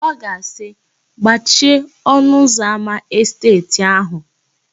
Ọ ga-asị, "gbachie ọnụụzọámá esteeti áhụ̀"